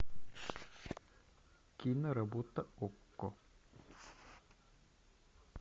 киноработа окко